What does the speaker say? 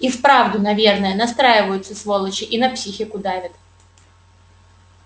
и вправду наверное настраиваются сволочи и на психику давят